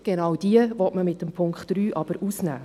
Genau diese will man aber mit dem Punkt 3 ausnehmen.